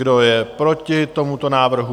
Kdo je proti tomuto návrhu?